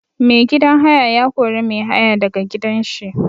Mai gidan haya ya kori mai haya da ga gidan shi.